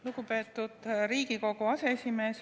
Lugupeetud Riigikogu aseesimees!